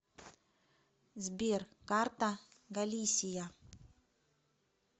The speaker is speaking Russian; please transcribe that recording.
сбер карта галисия